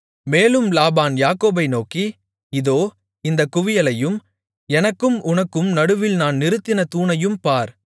மேலும் லாபான் யாக்கோபை நோக்கி இதோ இந்தக் குவியலையும் எனக்கும் உனக்கும் நடுவில் நான் நிறுத்தின தூணையும் பார்